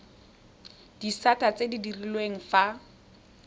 disata tse di direlwang fa